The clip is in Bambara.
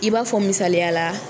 I b'a fɔ misaliya la